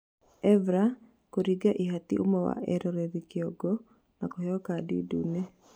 Evra kũringa ihati ũmwe wa eroreri kĩongo na kũheo kandi ndune